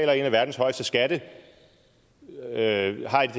af verdens højeste skattetryk at